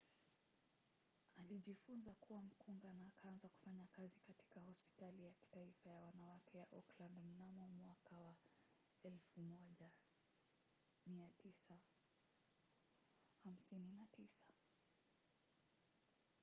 alijifunza kuwa mkunga na akaanza kufanya kazi katika hospitali ya kitaifa ya wanawake ya auckland mnamo 1959